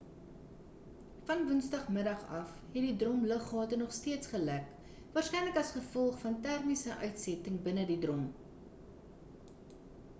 van woensdag middag af het die drom luggate nog steeds gelek waarskynlik as gevolg van termiese uitsetting binne die drom